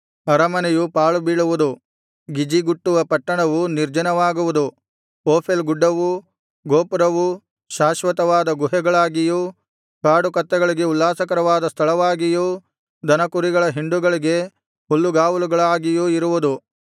ಅರಮನೆಯು ಪಾಳುಬೀಳುವುದು ಗಿಜಿಗುಟ್ಟುವ ಪಟ್ಟಣವು ನಿರ್ಜನವಾಗುವುದು ಓಫೆಲ್ ಗುಡ್ಡವೂ ಗೋಪುರವೂ ಶಾಶ್ವತವಾದ ಗುಹೆಗಳಾಗಿಯೂ ಕಾಡುಕತ್ತೆಗಳಿಗೆ ಉಲ್ಲಾಸಕರವಾದ ಸ್ಥಳವಾಗಿಯೂ ದನಕುರಿಗಳ ಹಿಂಡುಗಳಿಗೆ ಹುಲ್ಲುಗಾವಲುಗಳಾಗಿಯೂ ಇರುವುದು